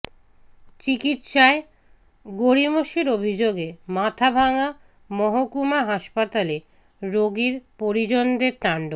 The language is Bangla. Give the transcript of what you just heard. চিকিৎসায় গড়িমসির অভিযোগে মাথাভাঙা মহকুমা হাসপাতালে রোগীর পরিজনদের তাণ্ডব